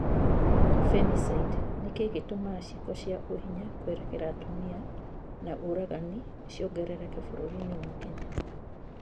Femicide: Nĩ kĩĩ gĩtũmaga ciiko cia ũhinya kwerekera atumia na ũragani ciongerereke bũrũri-inĩ wa Kenya?